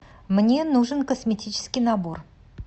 мне нужен косметический набор